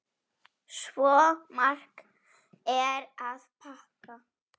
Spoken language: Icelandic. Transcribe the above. Svo margt er að þakka.